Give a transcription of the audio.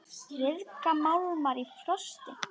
Ryðga málmar í frosti?